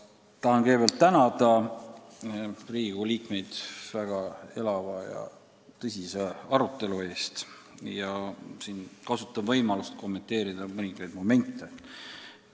Tahan kõigepealt tänada Riigikogu liikmeid väga elava ja tõsise arutelu eest, aga kasutan ka võimalust kommenteerida mõningaid momente.